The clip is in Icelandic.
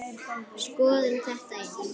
Skoðum þetta aðeins.